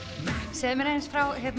segðu mér aðeins frá